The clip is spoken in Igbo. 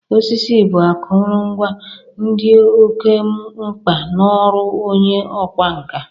Osisi bụ akụrụngwa dị oke mgba n'ọrụ onye ọkwa nka.